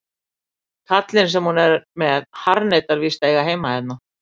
Kallinn sem hún er með harðneitar víst að eiga heima hérna.